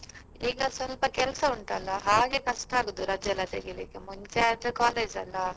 ಈಗ ಸ್ವಲ್ಪ ಕೆಲಸ ಉಂಟಲ್ಲ ಹಾಗೆ ಕಷ್ಟ ಆಗುದು ರಜೆ ಎಲ್ಲ ತೆಗೀಲಿಕ್ಕೆ ಮುಂಚೆ ಆದ್ರೆ college ಅಲ್ಲ.